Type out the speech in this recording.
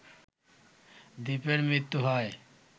দীপের মৃত্যু হয়